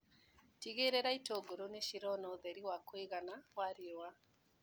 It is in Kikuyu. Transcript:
Tigĩrĩra itũngũrũ nĩcirona ũtheri wa kũigana wa riua.